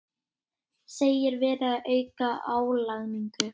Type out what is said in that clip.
Segir verið að auka álagningu